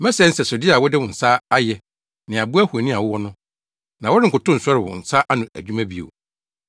Mɛsɛe nsɛsode a wode wo nsa ayɛ ne abo ahoni a wowɔ no, na worenkotow nsɔre wo nsa ano adwuma bio.